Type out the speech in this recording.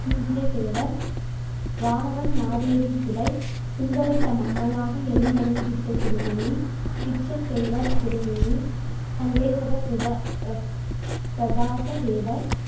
துஞ்சியதேவர், வானவன் மாதேவி சிலை குந்தவை தம் அம்மையாக எழுந்தருள்வித்த திருமேனி, பிச்சத்தேவர் திருமேனி, சண்டேசத பிரதா~ பிரச~ பிரதாச தேவர்